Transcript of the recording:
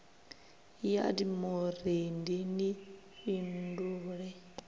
ya d vhurendi ni fhindule